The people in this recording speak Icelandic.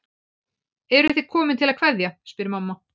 Eruð þið komin til að kveðja, spyr mamma.